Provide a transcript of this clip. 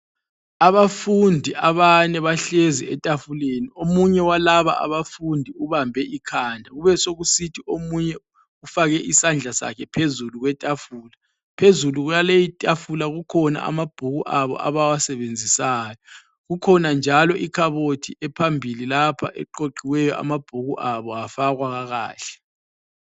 Abafundi abane bahlezi etafuleni, omunye walaba abafundi ubambe ikhanda kube sokusithi omunye ufake isandla sakhe phezulu kwetafula , phezulu kwaleyi itafula kukhona amabhuku abo abawasebenzisayo ,kukhona njalo ikhabothi ephambili lapha eqoqiweyo amabhuku abo afakwa kakahle